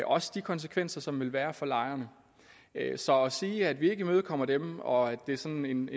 også de konsekvenser som ville være der for lejerne så at sige at vi ikke imødekommer dem og at det er sådan en